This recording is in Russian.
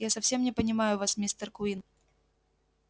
я совсем не понимаю вас мистер куинн